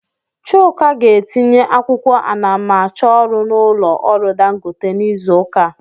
Chuk ga-etinye akwụkwọ anamachọrụ n'ụlọ ọrụ Dangote n'izu ụka a.